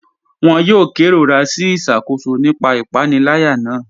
Wọn yòò kẹrọra sí iṣakóṣọ̀ nípa ìpanìlẹ̀yà náà.